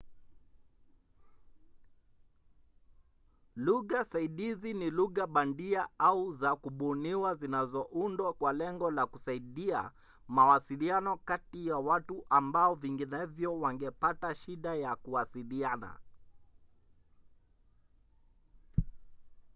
lugha saidizi ni lugha bandia au za kubuniwa zinazoundwa kwa lengo la kusaidia mawasiliano kati ya watu ambao vinginevyo wangepata shida ya kuwasiliana